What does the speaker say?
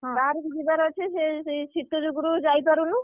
ବାହାରକୁ ଯିବାର ଅଛି ସେ ଶୀତ ଯୋଗୁଁରୁ ଯାଇପାରୁନୁ,